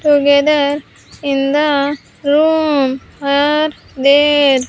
together in the room are there.